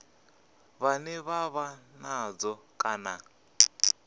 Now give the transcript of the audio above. vhane vha vha nazwo kana